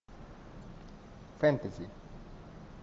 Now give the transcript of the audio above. фэнтези